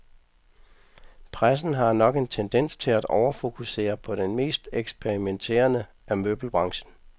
Pressen har nok en tendens til at overfokusere på den mest eksperimenterende af møbelbranchen.